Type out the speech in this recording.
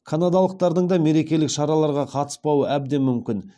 канадалықтардың да мерекелік шараларға қатыспауы әбден мүмкін